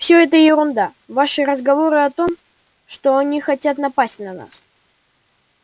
всё это ерунда ваши разговоры о том что они хотят напасть на нас